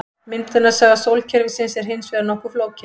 Myndunarsaga sólkerfisins er hins vegar nokkuð flókin.